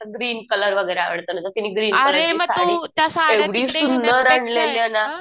green colour वगैरे आवडतो ना तिने ग्रीन कलरची साडी एवढी सुंदर आणलेली ये ना